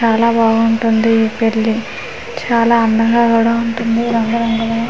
చాలా బాగుంటుంది ఈ పెళ్లి చాలా అందంగా కూడా ఉంటుంది రంగు రంగుల--